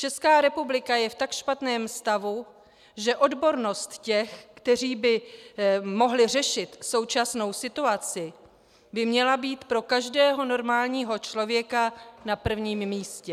Česká republika je v tak špatném stavu, že odbornost těch, kteří by mohli řešit současnou situaci, by měla být pro každého normálního člověka na prvním místě.